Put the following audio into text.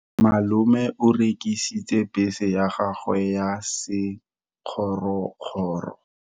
Malome o rekisitse bese ya gagwe ya sekgorokgoro.